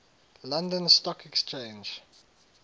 london stock exchange